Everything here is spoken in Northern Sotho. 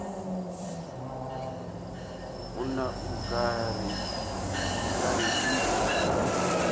monna o ka re di